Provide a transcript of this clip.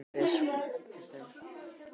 Annar hafði farið illa út úr bílaviðskiptum.